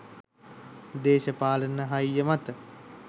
දේශපාලන හයිය මත